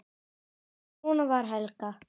Svona var Helga.